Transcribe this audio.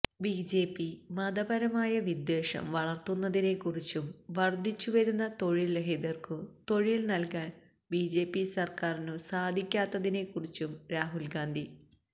BJP മതപരമായ വിദ്വേഷം വളർത്തുന്നതിനെക്കുറിച്ചും വർദ്ധിച്ചു വരുന്ന തൊഴിൽരഹിതർക്കു തൊഴിൽ നൽകാൻ ബിജെപി സർക്കാരിനു സാധിക്കാത്തതിനെക്കുറിച്ചും രാഹുൽ ഗാന്ധി